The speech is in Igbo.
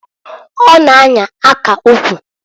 Ọ na -anya aka ukwu.